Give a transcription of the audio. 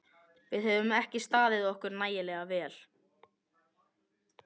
Við höfum ekki staðið okkur nægilega vel.